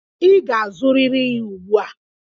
Ị ga-azụrịrị ya ugbu a!